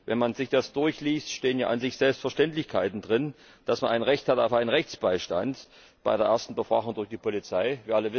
Wenn man sich das durchliest, stehen ja an sich Selbstverständlichkeiten drin dass man ein Recht auf einen Rechtsbeistand bei der ersten Befragung durch die Polizei hat.